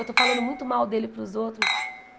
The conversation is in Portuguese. Eu estou falando muito mal dele para os outros.